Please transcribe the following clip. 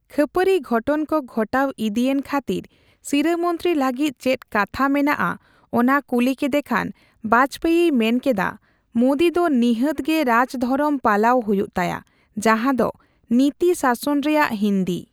ᱠᱷᱟᱹᱯᱟᱹᱨᱤ ᱜᱷᱚᱴᱚᱱ ᱠᱚ ᱜᱷᱚᱴᱟᱣ ᱤᱫᱤᱭᱮᱱ ᱠᱷᱟᱹᱛᱤᱨ ᱥᱤᱨᱟᱹᱢᱚᱱᱛᱨᱤ ᱞᱟᱹᱜᱤᱫ ᱪᱮᱫ ᱠᱟᱛᱷᱟ ᱢᱮᱱᱟᱜᱼᱟ ᱚᱱᱟ ᱠᱩᱞᱤ ᱠᱮᱫᱮ ᱠᱷᱟᱱ ᱵᱟᱡᱯᱮᱭᱤᱭ ᱢᱮᱱᱠᱮᱫᱟ, ᱢᱳᱫᱤ ᱫᱚ ᱱᱤᱦᱟᱹᱛ ᱜᱮ ᱨᱟᱡᱽᱫᱷᱚᱨᱚᱢ ᱯᱟᱞᱟᱣ ᱦᱩᱭᱩᱜ ᱛᱟᱭᱟ ᱡᱟᱦᱟᱸ ᱫᱚ ᱱᱤᱛᱤ ᱥᱟᱥᱚᱱ ᱨᱮᱭᱟᱜ ᱦᱤᱱᱫᱤ᱾